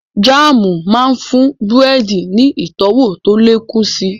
Jáàmù máa ń fún búrẹ́dì ní ìtọ́wọ̀ tó lè kún si